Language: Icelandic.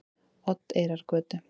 Oddeyrargötu